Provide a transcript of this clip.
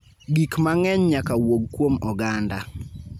Gik mang�eny nyaka wuog kuom oganda.